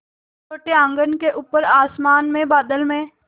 छोटे आँगन के ऊपर आसमान में बादल में